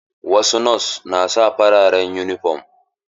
Wasu nos na sa fararen yunifom.